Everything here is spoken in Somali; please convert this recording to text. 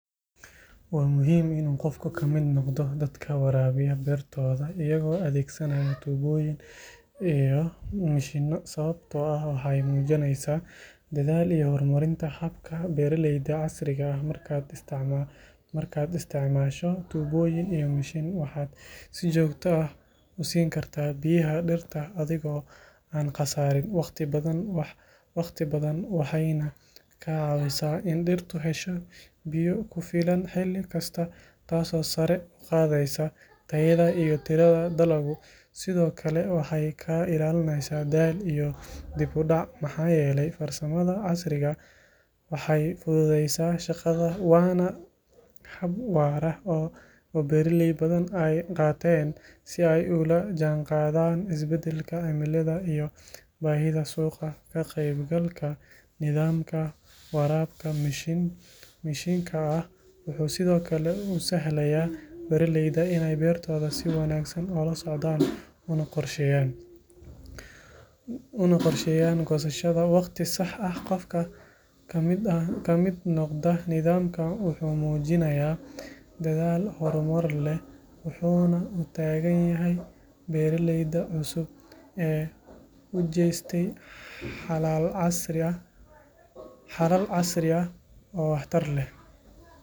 Waa muhiim in qofku ka mid noqdo dadka waraabiya beertooda iyagoo adeegsanaya tuubooyin iyo mishiinno sababtoo ah waxay muujinaysaa dadaal iyo horumarinta habka beeraleyda casriga ah markaad isticmaasho tuubooyin iyo mishiin waxaad si joogto ah u siin kartaa biyaha dhirta adigoo aan khasaarin waqti badan waxayna kaa caawisaa in dhirtu hesho biyo ku filan xilli kasta taasoo sare u qaadaysa tayada iyo tirada dalagga sidoo kale waxay kaa ilaalinaysaa daal iyo dib u dhac maxaa yeelay farsamada casriga ah waxay fududeyneysaa shaqada waana hab waara oo beeraley badan ay qaateen si ay ula jaanqaadaan isbedelka cimilada iyo baahida suuqa ka qaybgalka nidaamka waraabka mishiinka ah wuxuu sidoo kale u sahlayaa beeraleyda inay beertooda si wanaagsan ula socdaan una qorsheeyaan goosashada waqti sax ah qofka ka mid noqda nidaamkan wuxuu muujinayaa dadaal horumar leh wuxuuna u taagan yahay beeraleyda cusub ee u jeestay xalal casri ah oo wax tar leh.